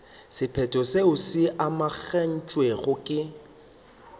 sephetho seo se amogetšwego ke